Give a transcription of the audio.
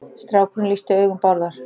Strákurinn lýsti augum Bárðar.